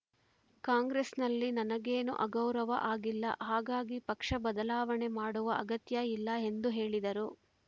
ಕಾಂಗ್ರೆಸ್‌ನಲ್ಲಿ ನನಗೇನೂ ಅಗೌರವ ಆಗಿಲ್ಲ ಹಾಗಾಗಿ ಪಕ್ಷ ಬದಲಾವಣೆ ಮಾಡುವ ಅಗತ್ಯ ಇಲ್ಲ ಎಂದು ಹೇಳಿದರು